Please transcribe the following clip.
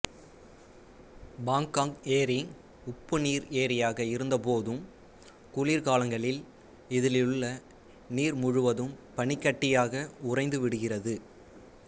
பாங்காங் ஏரி உப்புநீர் ஏரியாக இருந்தபோதும் குளிர்காலங்களில் இதிலுள்ள நீர் முழுவதும் பனிக்கட்டியாக உறைந்து விடுகிறது